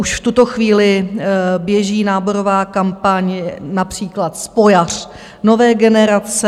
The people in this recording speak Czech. Už v tuto chvíli běží náborová kampaň - například spojař nové generace.